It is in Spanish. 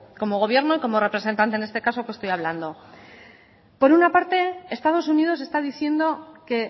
como gobierno y como representante en este caso que estoy hablando por una parte estados unidos está diciendo que